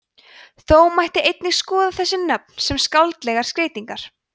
þó mætti einnig skoða þessi nöfn sem skáldlegar skreytingar